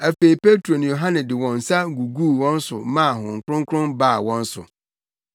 Afei Petro ne Yohane de wɔn nsa guguu wɔn so maa Honhom Kronkron baa wɔn so.